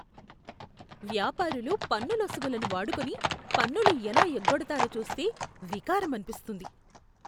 వ్యాపారులు పన్నులొసుగులను వాడుకొని పన్నులు ఎలా ఎగ్గొడతారో చూస్తే వికారం అనిపిస్తుంది.